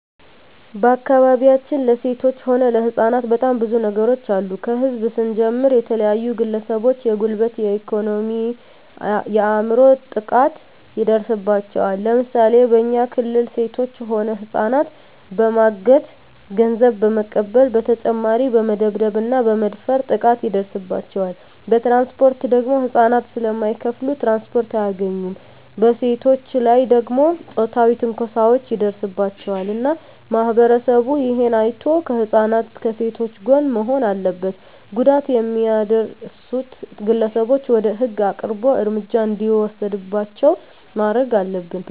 በአካባቢያችን ለሴቶች ሆነ ለህጻናት በጣም ብዙ ነገሮች አሉ ከህዝብ ስንጀምር የተለያዩ ግለሰቦች የጉልበት የኤኮኖሚ የአይምሮ ጥቃት ይደርስባቸዋል ለምሳሌ በኛ ክልል ሴቶች ሆነ ህጻናትን በማገት ገንዘብ በመቀበል በተጨማሪ በመደብደብ እና በመድፈር ጥቃት ይደርስባቸዋል በትራንስፖርት ደግሞ ህጻናት ስለማይከፋሉ ትራንስፖርት አያገኙም በሴቶች ላይ ደግሞ ጾታዊ ትንኮሳዎች ይደርስባቸዋል እና ማህበረሰቡ እሄን አይቶ ከህጻናት ከሴቶች ጎን መሆን አለበት ጉዳት የሚያደርሱት ግለሰቦች ወደ ህግ አቅርቦ እርምጃ እንዲወሰድባቸው ማረግ አለብን